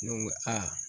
Ne ko aa